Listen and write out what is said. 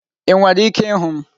Ị nwere ike ịhụ m?